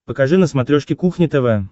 покажи на смотрешке кухня тв